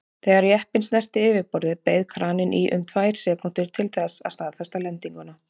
Þegar jeppinn snerti yfirborðið beið kraninn í um tvær sekúndur til þess að staðfesta lendinguna.